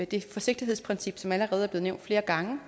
det forsigtighedsprincip som allerede er blevet nævnt flere gange